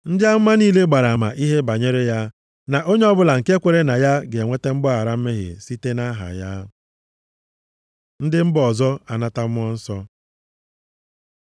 Ndị amụma niile gbara ama ihe banyere ya na onye ọbụla nke kweere na ya ga-enweta mgbaghara mmehie site nʼaha ya.” Ndị mba ọzọ anata Mmụọ Nsọ